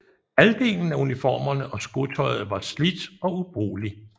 Halvdelen af uniformerne og skotøjet var slidt og ubrugelig